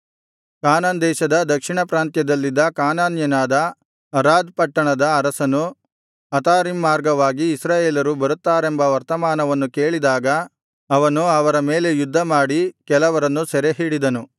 ಕಾನಾನ್ ದೇಶದ ದಕ್ಷಿಣ ಪ್ರಾಂತ್ಯದಲ್ಲಿದ್ದ ಕಾನಾನ್ಯನಾದ ಅರಾದ್ ಪಟ್ಟಣದ ಅರಸನು ಅತಾರೀಮ್ ಮಾರ್ಗವಾಗಿ ಇಸ್ರಾಯೇಲರು ಬರುತ್ತಾರೆಂಬ ವರ್ತಮಾನವನ್ನು ಕೇಳಿದಾಗ ಅವನು ಅವರ ಮೇಲೆ ಯುದ್ಧಮಾಡಿ ಕೆಲವರನ್ನು ಸೆರೆಹಿಡಿದನು